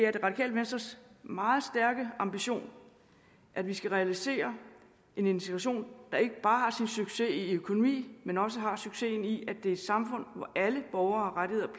er det radikale venstres meget stærke ambition at vi skal realisere en integration der ikke bare har sin succes i økonomi men også har succes i at det er et samfund hvor alle borgere har rettigheder